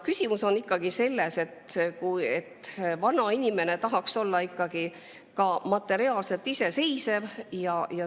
Küsimus on ikkagi selles, et vanainimene tahaks olla materiaalselt iseseisev.